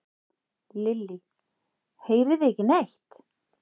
Lillý: Heyrið þið ekki neitt?